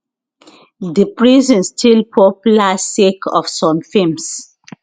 di prison still popular sake of some films